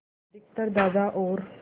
अधिकतर दादा और